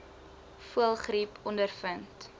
voëlgriep ondervind